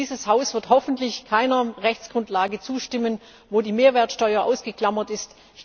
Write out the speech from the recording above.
Dieses Haus wird hoffentlich keiner Rechtsgrundlage zustimmen, bei der die Mehrwertsteuer ausgeklammert ist.